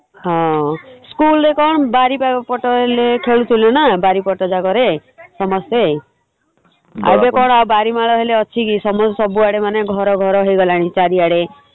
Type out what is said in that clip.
ହଁ school ରେ କଣ ବାରିପଟ ଖେଳୁଥିଲେ ନା ବାରିପଟ ଜାଗାରେ ସମସ୍ତେ । ଏବେ କଣ ବାରିମଳ ହେଲେ ଅଛି କି ସମସ୍ତେ ସବୁ ଆଡେ ମାନେ ଘର ଘର ହେଇଗଲାଣି ଚାରିଆଡେ ।